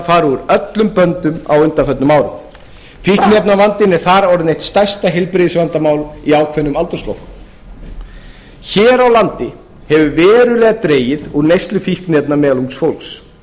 úr öllum böndum á undanförnum árum fíkniefnavandinn er þar orðið eitt stærsta heilbrigðisvandamál í ákveðnum aldursflokkum hér á landi hefur verulega dregið úr neyslu fíkniefna meðal ungs fólks